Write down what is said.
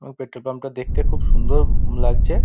আ petrol pump -টা দেখতে খুব -ও সুন্দর লাগছে |